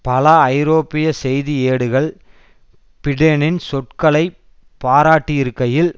பல ஐரோப்பிய செய்தி ஏடுகள் பிடெனின் சொற்களை பாராட்டியிருக்கையில்